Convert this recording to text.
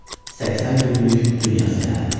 80 günlük Dünya Səyahəti.